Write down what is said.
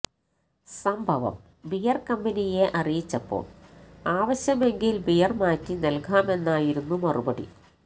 സംഭവം ബിയർ കമ്പനിയെ അറിയിച്ചപ്പോൾ ആവശ്യമെങ്കിൽ ബിയർ മാറ്റി നൽകാമെന്നായിരുന്നു മറുപടി